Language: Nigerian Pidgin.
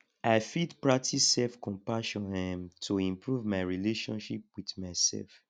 i fit practice selfcompassion um to improve my relationship with myself